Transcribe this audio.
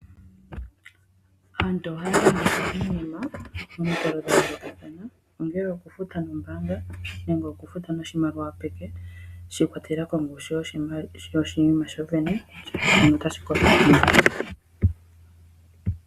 Aantu ohaya longitha iinima momikalo dha yoolokathana ongele okufuta noombaanga nenge oufuta niimaliwa peke shi ikwatelela koongushu yoshinima shoshene.